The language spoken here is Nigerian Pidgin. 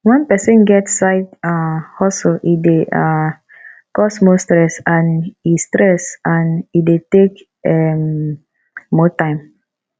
when persin get side um hustle e de um cause more stress and e stress and e de take um more time